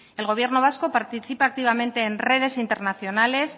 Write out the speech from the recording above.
el gobierno vasco participa activamente en redes internacionales